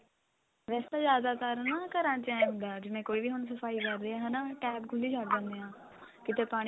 ਵੈਸੇ ਤਾਂ ਜਿਆਦਾਤਰ ਨਾ ਘਰਾਂ ਚ ਐਂ ਹੁੰਦਾ ਜਿਵੇਂ ਕੋਈ ਵੀ ਹੁਣ ਸਫਾਈ ਕਰ ਰਿਹਾ ਹਨਾ tap ਖੁੱਲੀ ਛੱਡ ਦਿੰਨੇ ਆਂ ਕਿਤੇ ਪਾਣੀ